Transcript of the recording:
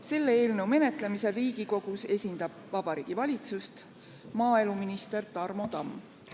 Selle eelnõu menetlemisel Riigikogus esindab Vabariigi Valitsust maaeluminister Tarmo Tamm.